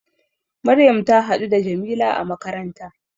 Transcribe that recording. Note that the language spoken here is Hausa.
Maryam ta haɗu da Jamila a makaranta